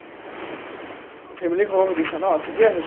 family ৰ খবৰ সুধিছা ন ঠিকে আছে।